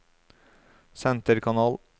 senterkanal